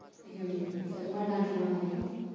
হুম হুম তা তোমার গান শোনা হয় নাকি?